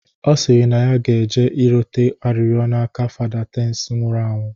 Ọ sịrị na ya ge-eje rịọta arịrịọ n'aka Fada Tansị nwụrụ anwụ